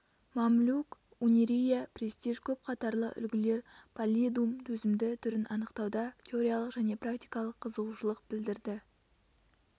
мамлюк унирия престиж көп қатарлы үлгілер паллидум төзімді түрін анықтауда теориялық және практикалық қызығушылық білдірді